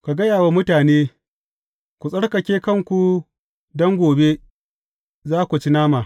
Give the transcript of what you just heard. Ka gaya wa mutane, Ku tsarkake kanku don gobe, za ku ci nama.